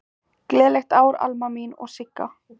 Gleðilegt ár, Alma mín og Sigga.